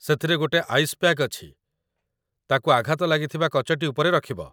ସେଥିରେ ଗୋଟେ ice pack ଅଛି, ତାକୁ ଆଘାତ ଲାଗିଥିବା କଚଟି ଉପରେ ରଖିବ